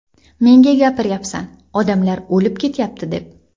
Menga gapiryapsan ‘odamlar o‘lib ketyapti’ deb.